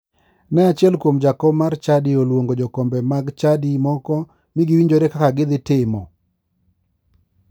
Ne achiel kuom jakom mar chadi oluongo jokombe mag chadi moko mi giwinjore kaka gidhi timo.